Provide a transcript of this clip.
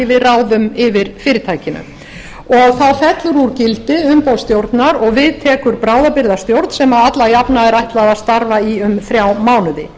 við ráðum yfir fyrirtækinu þá fellur úr úr gildi umboð stjórnar og við tekur bráðabirgðastjórn sem alla jafna er ætlað að starfa í um þrjá mánuði